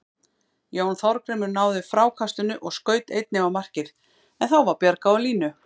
Jón Þorgrímur náði frákastinu og skaut einnig á markið en þá var bjargað á línu.